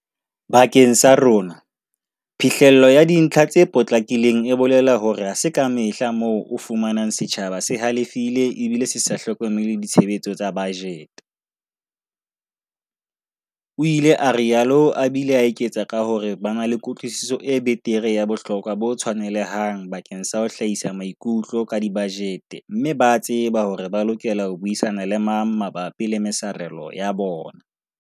"Bakeng sa rona, phihlello ya dintlha tse potlakileng e bolela hore ha se kamehla moo o fumanang setjhaba se halefile ebile se sa hlokomele ditshebetso tsa bajete, o ile a rialo a bile a eketsa ka hore ba na le kutlwisiso e betere ya bohlokwa bo tshwanelehang bakeng sa ho hlahisa maikutlo ka dibajete mme ba tseba hore ba lokela ho buisana le mang mabapi le mesarelo ya bona."